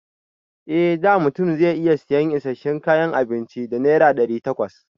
A da mutum zai iya sayan isasshen kayan abinci da naira ɗari takwas.